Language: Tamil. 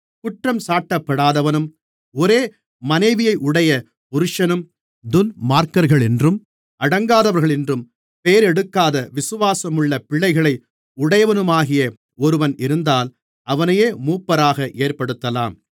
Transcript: குற்றஞ்சாட்டப்படாதவனும் ஒரே மனைவியையுடைய புருஷனும் துன்மார்க்கர்களென்றும் அடங்காதவர்களென்றும் பெயரெடுக்காத விசுவாசமுள்ள பிள்ளைகளை உடையவனுமாகிய ஒருவன் இருந்தால் அவனையே மூப்பராக ஏற்படுத்தலாம்